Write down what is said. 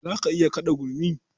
Za ka iya kaɗa gurmi?